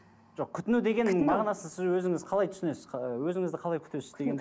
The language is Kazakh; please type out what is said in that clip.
жоқ күтіну деген мағынасы сіз өзіңіз қалай түсінесіз ы өзіңізді қалай күтесіз деген